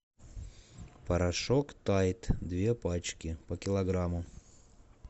порошок тайд две пачки по килограмму